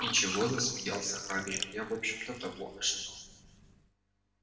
ничего замялся хагрид я в общем-то того ожидал